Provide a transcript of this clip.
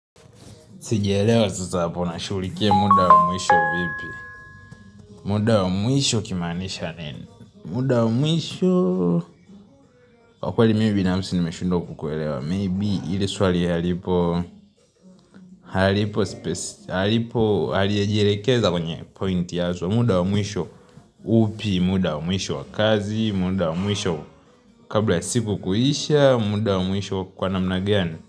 Sijaelewa sasa hapo nashughulikia muda wa mwisho vipi. Muda wa mwisho ukimanisha nini muda wa mwisho Kwa kweli binafsi nimeshindwa kukuelewa Maybe ili swali halipo haliejelekeza kwenye pointi ya cha muda wa mwiisho upi muda wa muisho wa kazi muda wa muisho Kabla ya siku kuisha au muda wa mwisho kwa namna gani.